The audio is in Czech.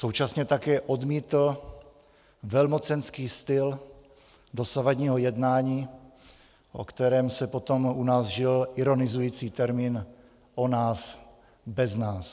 Současně také odmítl velmocenský styl dosavadního jednání, o kterém se potom u nás vžil ironizující termín "o nás bez nás".